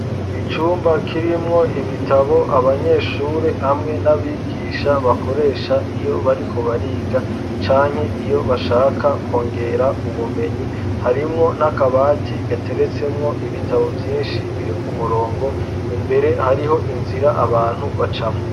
Icumba kirimwo ibitabo abanyeshuri hamwe n'abigisha bakoresha iyo bariko bariga canke iyo bashaka kongera ubumenyi harimwo n'akabati gateretsemwo ibitabo vyinshi biri ku murongo imbere hariho inzira abantu bacamwo.